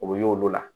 O bɛ y'olu la